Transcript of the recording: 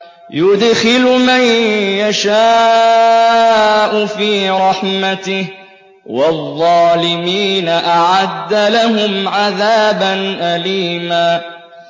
يُدْخِلُ مَن يَشَاءُ فِي رَحْمَتِهِ ۚ وَالظَّالِمِينَ أَعَدَّ لَهُمْ عَذَابًا أَلِيمًا